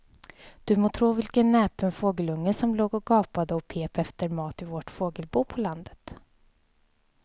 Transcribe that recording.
Du må tro vilken näpen fågelunge som låg och gapade och pep efter mat i vårt fågelbo på landet.